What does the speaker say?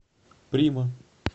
прима